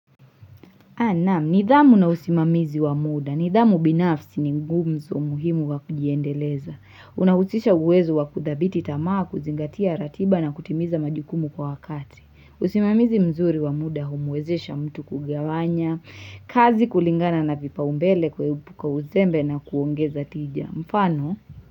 Naam, nidhamu na usimamizi wa muda. Nidhamu binafsi ni nguzo muhimu wa kujiendeleza. Unahusisha uwezo wa kudhibiti tamaa kuzingatia ratiba na kutimiza majukumu kwa wakati. Usimamizi mzuri wa muda humuwezesha mtu kugawanya, kazi kulingana na vipa ombele kuepuka uzembe na kuongeza tija. Mfano?